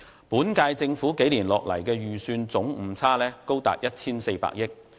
本屆政府數年下來的預算總誤差高達 1,400 億元。